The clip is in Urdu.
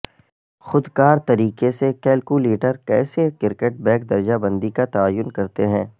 خود کار طریقے سے کیلکولیٹر کیسے کرکٹ بیک درجہ بندی کا تعین کرتے ہیں